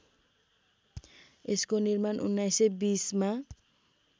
यसको निर्माण १९२० मा